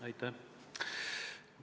Aitäh!